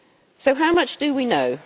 So how much do we know?